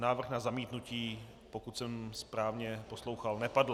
Návrh na zamítnutí, pokud jsem správně poslouchal, nepadl.